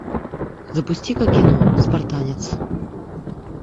запусти ка кино спартанец